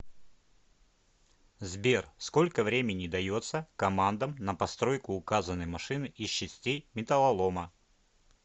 сбер сколько времени дается командам на постройку указанной машины из частей металлолома